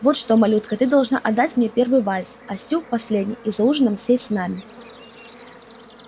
вот что малютка ты должна отдать мне первый вальс а стю последний и за ужином сесть с нами